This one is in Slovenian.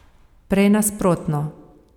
Prej nasprotno.